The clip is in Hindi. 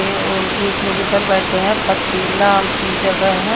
और एक लोग उधर बैठे हैं पथरीला जगह है।